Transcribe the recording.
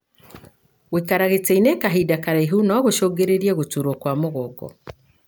Gũikara gĩtĩinĩ kahinda karaihu na gũcungĩrĩrie gũturwo kwa mũgongo.